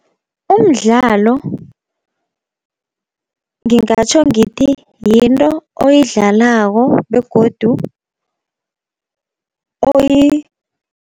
Umdlalo ngingatjho ngithi yinto oyidlalako begodu